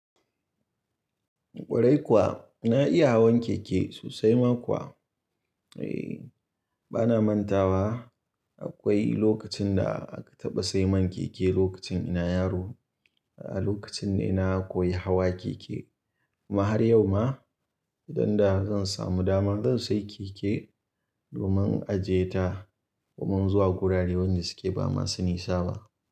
Kwarai kuwa na iya hawan keke sosai ma kuwa. Eh bana manta wa akwai lokacin da aka taɓa sai man keke lokacin ina yaro. Lokacin ne na koyi hawa keke. Amma har yau ma idan da zan samu dama zan sai keke domin ajiye ta domin zuwa gurare wanda suke ba masu nisa ba.